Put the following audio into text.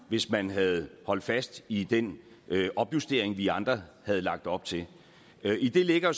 hvis man havde holdt fast i den opjustering vi andre havde lagt op til i det ligger